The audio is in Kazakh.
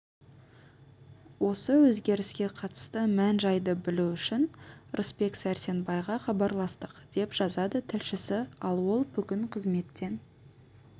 осы өзгеріске қатысты мән-жайды білу үшін рысбек сәрсенбайға хабарластық деп жазады тілшісі ал ол бүгін қызметтен